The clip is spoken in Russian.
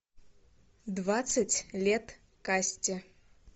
двадцать лет касте